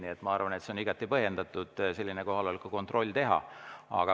Nii et ma arvan, et on igati põhjendatud selline kohaloleku kontroll teha.